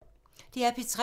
DR P3